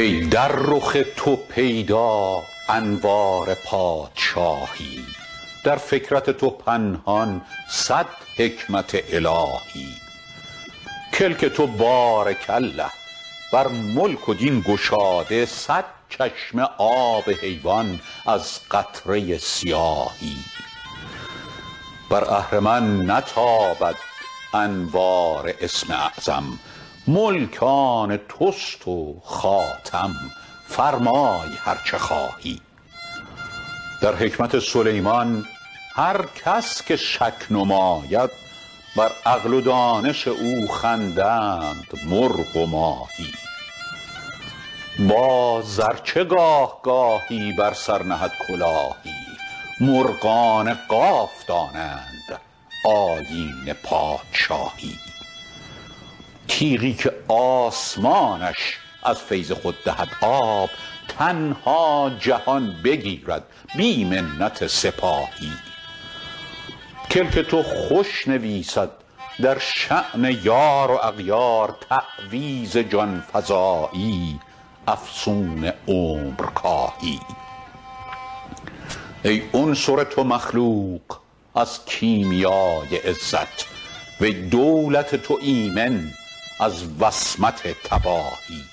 ای در رخ تو پیدا انوار پادشاهی در فکرت تو پنهان صد حکمت الهی کلک تو بارک الله بر ملک و دین گشاده صد چشمه آب حیوان از قطره سیاهی بر اهرمن نتابد انوار اسم اعظم ملک آن توست و خاتم فرمای هر چه خواهی در حکمت سلیمان هر کس که شک نماید بر عقل و دانش او خندند مرغ و ماهی باز ار چه گاه گاهی بر سر نهد کلاهی مرغان قاف دانند آیین پادشاهی تیغی که آسمانش از فیض خود دهد آب تنها جهان بگیرد بی منت سپاهی کلک تو خوش نویسد در شأن یار و اغیار تعویذ جان فزایی افسون عمرکاهی ای عنصر تو مخلوق از کیمیای عزت و ای دولت تو ایمن از وصمت تباهی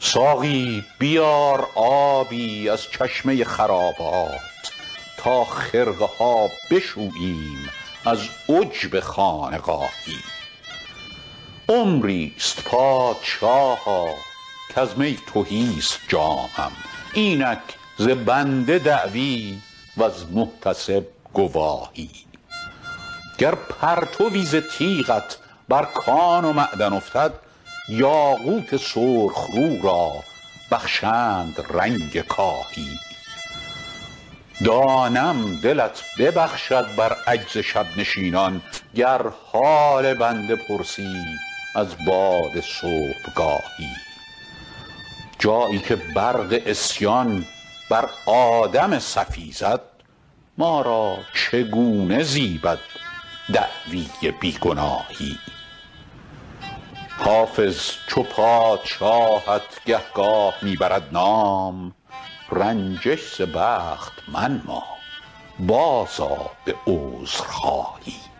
ساقی بیار آبی از چشمه خرابات تا خرقه ها بشوییم از عجب خانقاهی عمری ست پادشاها کز می تهی ست جامم اینک ز بنده دعوی وز محتسب گواهی گر پرتوی ز تیغت بر کان و معدن افتد یاقوت سرخ رو را بخشند رنگ کاهی دانم دلت ببخشد بر عجز شب نشینان گر حال بنده پرسی از باد صبحگاهی جایی که برق عصیان بر آدم صفی زد ما را چگونه زیبد دعوی بی گناهی حافظ چو پادشاهت گهگاه می برد نام رنجش ز بخت منما بازآ به عذرخواهی